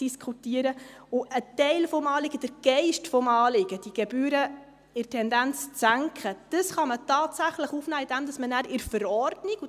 Ein Teil des Anliegens, der Geist des Anliegens, die Gebühren in der Tendenz zu senken, kann man tatsächlich aufnehmen, indem man nachher in der Verordnung diesen Geist aufnimmt.